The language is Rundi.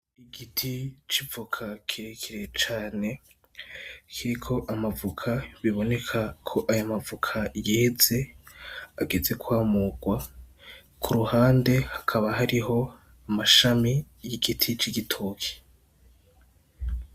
Igiti c'ivoka kirekire cane kiriko amavoka, biboneka ko ayo amavoka yeze, ageze kwamurwa. Ku ruhande hakaba hariho amashami y'igiti c'igitoke.